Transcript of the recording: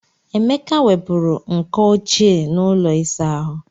Emeka wepụrụ nkọ ochie n'ụlọ ịsa ahụ.